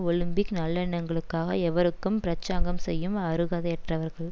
Olympic நல்லெண்ணங்களுக்காக எவருக்கும் பிரசங்கம் செய்யும் அருகதையற்றவர்கள்